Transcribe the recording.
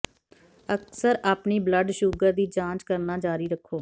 ਅਕਸਰ ਆਪਣੀ blood sugar ਦੀ ਜਾਂਚ ਕਰਨਾ ਜਾਰੀ ਰੱਖੋ